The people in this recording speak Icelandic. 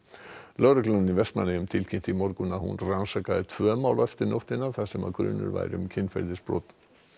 lögreglan í Vestmannaeyjum tilkynnti í morgun að hún rannsakaði tvö mál eftir nóttina þar sem grunur væri um kynferðisbrot